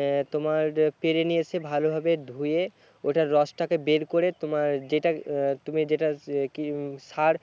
এর তোমার পেরে নিয়ে এসে ভালো ভাবে ধুয়ে ওটা রস টাকে বের করে তোমার যেটা তুমি যেটা কি সার